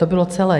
To bylo celé.